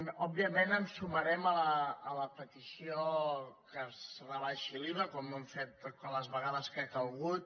òbviament ens sumarem a la petició que es rebaixi l’iva com ho hem fet totes les vegades que ha calgut